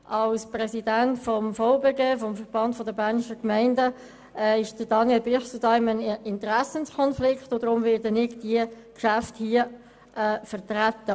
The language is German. Als Präsident des Verbands der Bernischen Gemeinden (VBG) steht Daniel Bichsel in einem Interessenskonflikt, weshalb ich diese Geschäfte hier vertrete.